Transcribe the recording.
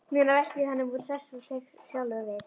Núna velti ég honum úr sessi og tek sjálfur við.